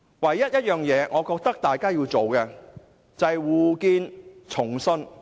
我認為大家唯一要做的，是重建互信。